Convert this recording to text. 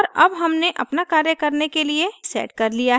और अब हमने अपना कार्य करने के लिए set कर लिया है